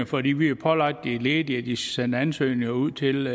fordi vi har pålagt de ledige at de skal sende ansøgninger ud til